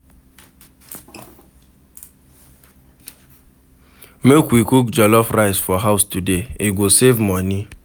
Make we cook jollof rice for house today, e go save money.